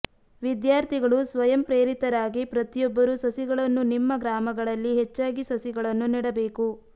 ವಿದ್ಯಾಥರ್ಿಗಳು ಸ್ವಯಂ ಪ್ರೇರಿತರಾಗಿ ಪ್ರತಿಯೊಬ್ಬರು ಸಸಿಗಳನ್ನು ನಿಮ್ಮ ಗ್ರಾಮಗಳಲ್ಲಿ ಹೆಚ್ಚಾಗಿ ಸಸಿಗಳನ್ನು ನೆಡಬೇಕು